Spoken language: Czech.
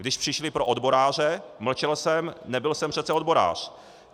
Když přišli pro odboráře, mlčel jsem, nebyl jsem přece odborář.